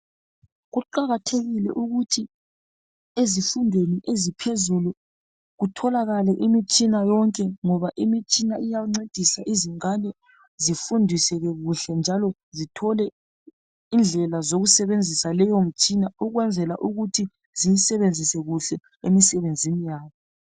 Kuqakathekile ukuthi ezifundweni eziphezulu kutholakale imitshina yonke, ngoba imitshina iyancedisa izingane zifundiseke kuhle njalo zithole indlela zokusebenzisa leyo mitshina ukwenzela ukuthi ziyisebenzise kuhle emsebenzini yabo